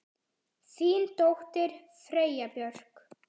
Þín dóttir, Freyja Björk.